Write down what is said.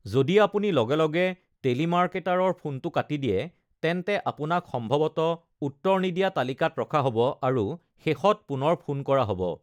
যদি আপুনি লগে লগে টেলিমাৰ্কেটাৰৰ ফোনটো কাটি দিয়ে, তেন্তে আপোনাক সম্ভৱতঃ উত্তৰ নিদিয়া তালিকাত ৰখা হ’ব আৰু শেষত পুনৰ ফোন কৰা হ’ব৷